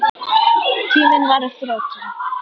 Tíminn var á þrotum.